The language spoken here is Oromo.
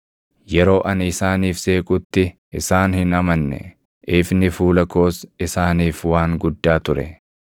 Yeroo ani isaaniif seequtti isaan hin amanne; ifni fuula koos isaaniif waan guddaa ture.